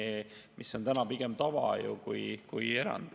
See on ju tänapäeval pigem tava kui erand.